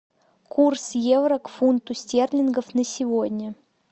курс евро к фунту стерлингов на сегодня